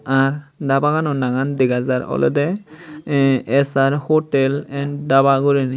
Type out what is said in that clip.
ar dabagano naangan dega jar olodey eh es ar hotel an daba guriney.